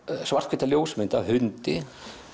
svarthvíta ljósmynd af hundi